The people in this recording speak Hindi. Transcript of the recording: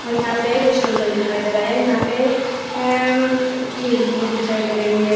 यहां पे रिस्टोर सा भी दिखाई दे रहा यहां पे अ खिड़की भी दिखाई दे रही है।